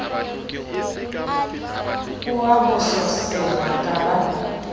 o a bososela ka ba